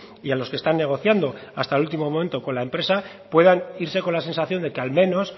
y a los que están negociando hasta el último momento con la empresa puedan irse con la sensación de que al menos